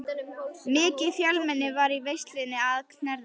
Mikið fjölmenni var í veislunni að Knerri.